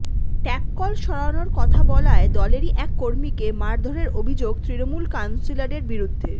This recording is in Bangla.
ট্যাপ কল সরানোর কথা বলায় দলেরই এক কর্মীকে মারধরের অভিযোগ তৃণমূল কাউন্সিলরের বিরুদ্ধে